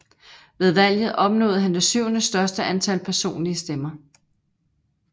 Ved valget opnåede han det syvende største antal personlige stemmer